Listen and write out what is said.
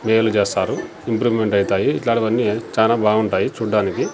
Mail చేస్తారు improvement అయితాయి ఇట్లాంటివి అన్నీ చానా బాగుంటాయి చుడ్డానికి.